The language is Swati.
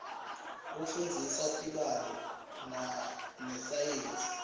kufundzisa tibalo nesayensi